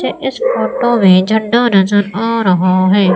इस फोटो में झंडा नजर आ रहा है।